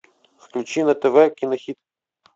включи на тв кинохит